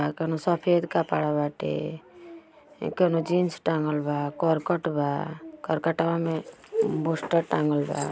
कउनो सफ़ेद कपड़ा बाटे इ कउनो जीन्स टाँगल बा करकट बा करकटवा में बुस्टर टाँगल बा।